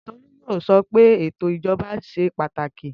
Tolú yóò sọ pé ètò ìjọba ṣe pàtàkì